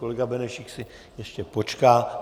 Kolega Benešík si ještě počká.